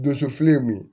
Donso fili ye min ye